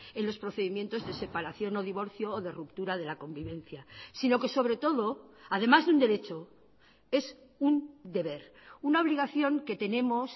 en los procedimientos de separación o divorcio o de ruptura de la convivencia sino que sobre todo además de un derecho es un deber una obligación que tenemos